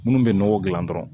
Minnu bɛ nɔgɔ dilan dɔrɔn